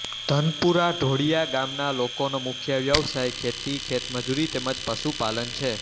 ધનપુરા ઢોળીયા ગામના લોકોનો મુખ્ય વ્યવસાય ખેતી ખેતમજૂરી તેમ જ પશુપાલન છે